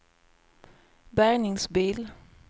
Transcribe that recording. bärgningsbil